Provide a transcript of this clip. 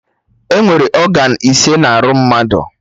Enwere ọgan ise na arụ mmadụ